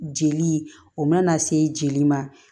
Jeli o mana se jeli ma